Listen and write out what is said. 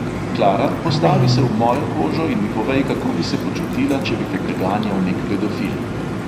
"Klara, postavi se v mojo kožo in mi povej, kako bi se počutila, če bi te preganjal nek pedofil?"